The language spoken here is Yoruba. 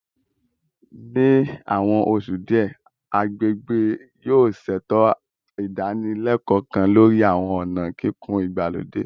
Ní àwọn oṣù díẹ̀, agbègbè yóò ṣètò ìdánilẹ́kọ̀ọ́ kan lórí àwọn ọ̀nà kíkùn ìgbàlódé